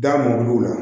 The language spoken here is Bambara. Da mɔbiliw la